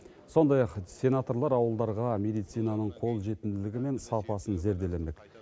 сондай ақ сенаторлар ауылдарға медицинаның қолжетімділігі мен сапасын зерделемек